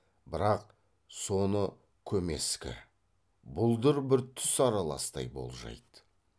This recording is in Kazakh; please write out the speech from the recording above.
бірақ соны көмескі бұлдыр бір түс араластай болжайды